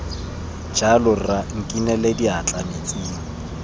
jalo rra nkinele diatla metsing